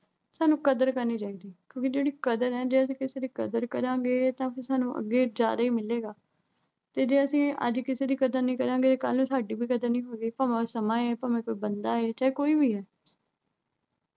ਸਾਨੂੰ ਕਰਦ ਕਰਨੀ ਚਾਹੀਂਦੀ ਐ। ਕਿਉਂ ਕਿ ਜਿਹੜੀ ਕਦਰ ਐ, ਜੇ ਅਸੀਂ ਕਿਸੇ ਦੀ ਕਦਰ ਕਰਾਂਗੇ ਤਾਂ ਫਿਰ ਸਾਨੂੰ ਅੱਗੇ ਜ਼ਿਆਦੇ ਮਿਲੇਗਾ। ਤੇ ਜੇ ਅਸੀਂ ਅੱਜ ਕਿਸੇ ਦੀ ਕਦਰ ਨਹੀਂ ਕਰਾਂਗੇ। ਕੱਲ੍ਹ ਸਾਡੀ ਵੀ ਕਦਰ ਨਹੀਂ ਹੋਵੇਗੀ ਭਾਵੇਂ ਉਹ ਸਮਾਂ ਏ, ਭਾਵੇਂ ਕੋਈ ਬੰਦਾ ਏ। ਚਾਹੇ ਕੋਈ ਵੀ ਐ।